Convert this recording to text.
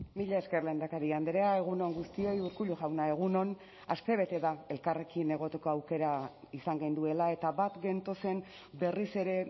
mila esker lehendakari andrea egun on guztioi urkullu jauna egun on astebete da elkarrekin egoteko aukera izan genuela eta bat gentozen berriz ere